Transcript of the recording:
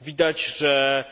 Widać, że